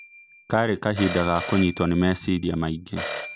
Kari kahinda ga kũnyitwo nĩ meciria maingĩ